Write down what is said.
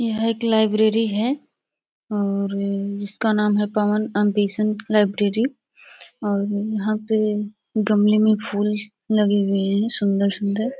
यह एक लाइब्रेरी है और इसका नाम है पवन अम्बेसेन्ट लाइब्रेरी और यहाँ पे गमले में फूल लगे हुए है सुन्दर -सुन्दर--